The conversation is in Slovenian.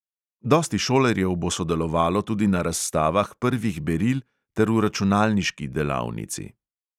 Dosti šolarjev bo sodelovalo tudi na razstavah prvih beril ter v računalniški delavnici.